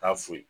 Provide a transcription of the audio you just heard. Taa fo